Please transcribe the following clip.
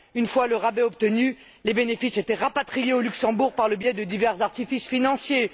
Une fois le rabais obtenu, les bénéfices étaient rapatriés au Luxembourg par le biais de divers artifices financiers.